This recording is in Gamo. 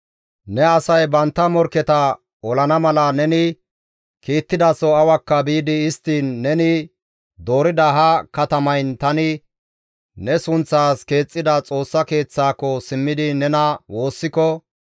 «Ne asay bantta morkketa olana mala neni kiittidaso awakka biidi istti neni doorida ha katamayn tani ne sunththaas keexxida Xoossa Keeththaako simmidi nena woossiko,